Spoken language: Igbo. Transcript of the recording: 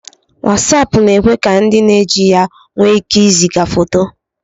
Wasapu na-ekwe ka ndi na-eji ya nwe ike iziga foto